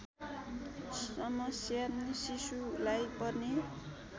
समस्या शिशुलाई पर्ने